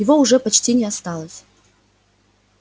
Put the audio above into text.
его уже почти не осталось